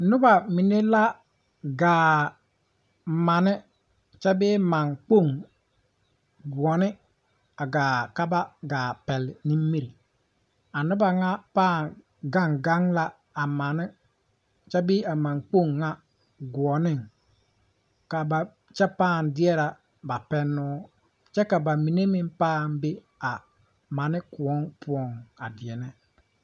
Nobɔ mine la gaa mane kyɛ bee mankpoŋ gõɔne a gaa ka ba gaa ka ba pɛlle nimire a nobɔ ŋa pãã gaŋ gaŋ la a mane kyɛ bee a mankpoŋ ŋa goɔneŋ ka ba kyɛ pãã deɛrɛ ba pɛnoo kyɛ ka ba mine meŋ pãã be a mane kõɔ poɔŋ a deɛnɛ.